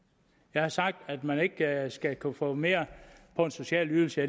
jeg har sagt at man ikke skal kunne få mere på en social ydelse